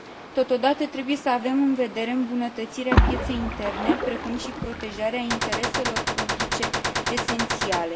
Totodată, trebuie să avem în vedere îmbunătățirea pieței interne, precum și protejarea intereselor publice esențiale.